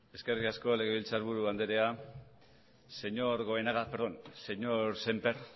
eskerrik asko legebiltzar buru anderea señor goenaga perdón señor sémper